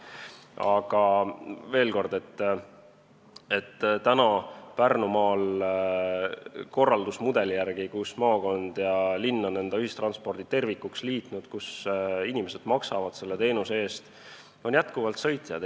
Aga veel kord: Pärnumaal sellise korraldusmudeli järgi, kus maakond ja linn on ühistranspordi tervikuks liitnud ja inimesed maksavad selle teenuse eest, on praegu endiselt sõitjaid.